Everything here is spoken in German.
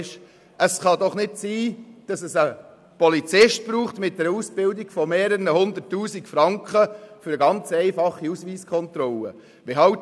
Es kann doch nicht sein, dass es einen Polizisten mit einer Ausbildung für mehrere Hunderttausend Franken braucht, um eine ganz einfache Ausweiskontrolle durchzuführen.